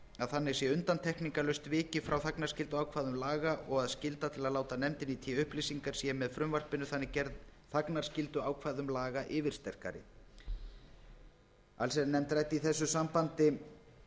að þannig sé undantekningarlaust vikið frá þagnarskylduákvæðum laga og að skylda til að láta nefndinni í té upplýsingar sé með frumvarpinu þannig gerð þagnarskylduákvæðum laga yfirsterkari allsherjarnefnd ræddi í þessu sambandi